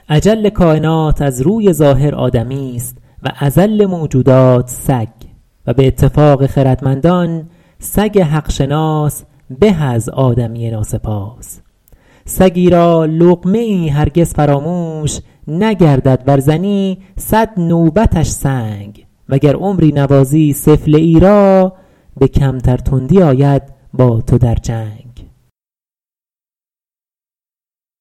اجل کاینات از روی ظاهر آدمیست و اذل موجودات سگ و به اتفاق خردمندان سگ حق شناس به از آدمی ناسپاس سگی را لقمه ای هرگز فراموش نگردد ور زنی صد نوبتش سنگ و گر عمری نوازی سفله ای را به کمتر تندی آید با تو در جنگ